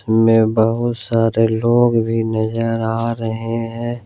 मे बहुत सारे लोग भी नजर आ रहे हैं।